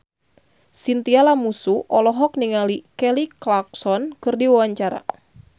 Chintya Lamusu olohok ningali Kelly Clarkson keur diwawancara